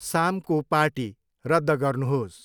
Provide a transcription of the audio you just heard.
सामको पार्टी रद्द गर्नुहोस्।